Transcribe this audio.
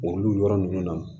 Olu yɔrɔ ninnu na